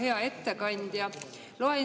Hea ettekandja!